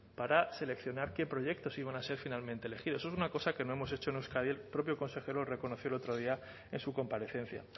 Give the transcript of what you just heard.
para seleccionar qué proyectos iban a ser finalmente elegidos eso es una cosa que no hemos hecho en euskadi el propio consejero lo reconoció el otro día en su comparecencia